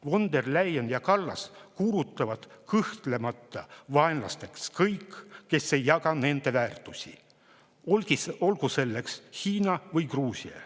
Von der Leyen ja Kallas kuulutavad kõhklemata vaenlasteks kõik, kes ei jaga nende väärtusi, olgu selleks Hiina või Gruusia.